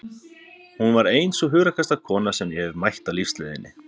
Hún var ein sú hugrakkasta kona sem ég hefi mætt á lífsleiðinni.